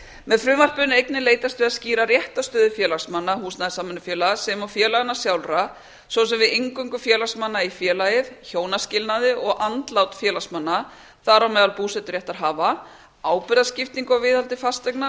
með frumvarpinu er einnig leitast við að skýra réttarstöðu félagsmanna húsnæðissamvinnufélaga sem og félaganna sjálfra svo sem við inngöngu félagsmanna í félagið hjónaskilnað og andlát félagsmanna þar á meðal búseturéttarhafa ábyrgðarskiptingu á viðhaldi fasteigna